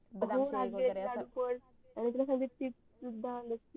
बदाम शेक वगरे अस